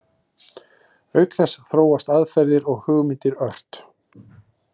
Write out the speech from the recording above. Auk þess þróast aðferðir og hugmyndir ört.